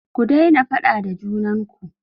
Ku daina faɗa da junan ku!